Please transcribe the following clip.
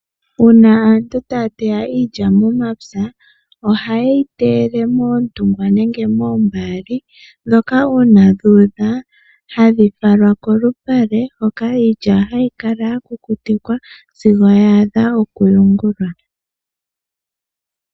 Uuna aantu taya teya iilya momapya oha yeyi teyele moondunda nenge moombaali ndhoka uuna dhu udha hadhi falwa kolupale hoka iilya hayi kala ya kukutikwa sigo ya adha oku yungulwa.